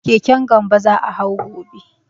Keken Gambo za a hau gobe.